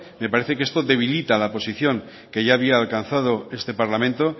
me parece que esto debilita la posición que ya había alcanzado este parlamento